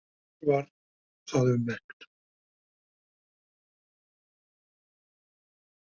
En mér var það um megn.